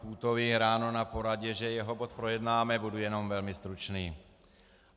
Půtovi ráno na poradě, že jeho bod projednáme, budu jenom velmi stručný.